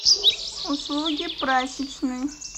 услуги прачечной